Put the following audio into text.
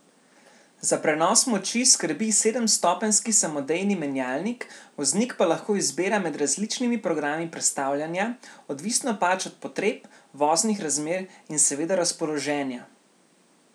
Za prenos moči skrbi sedemstopenjski samodejni menjalnik, voznik pa lahko izbira med različnimi programi prestavljanja, odvisno pač od potreb, voznih razmer in seveda razpoloženja.